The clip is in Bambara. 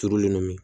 Turulen don